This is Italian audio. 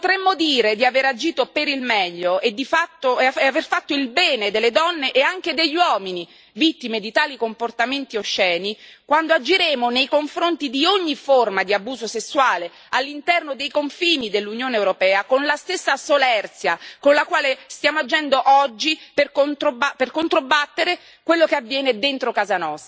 Ecco, potremo dire di aver agito per il meglio e di aver fatto il bene delle donne e anche degli uomini vittime di tali comportamenti osceni quando agiremo nei confronti di ogni forma di abuso sessuale all'interno dei confini dell'Unione europea con la stessa solerzia con la quale stiamo agendo oggi per controbattere a quello che avviene dentro casa nostra.